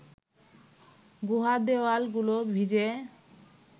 গুহার দেওয়ালগুলো ভিজে